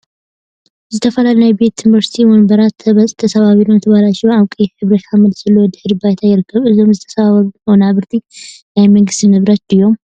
ዝተፈላለዩ ናይ ቤት ትምህርቲ ወንበራት ተሰባቢሮምን ተበላሽዮን አብ ቀይሕ ሕብሪ ሓመድ ዘለዎ ድሕረ ባይታ ይርከቡ፡፡ እዞም ዝተሰባበሩ ወናብር ናይ መንግስቲ ንብረት ድዮም?